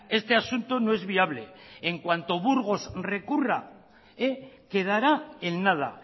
este asunto no es viable en cuanto burgos recurra quedará en nada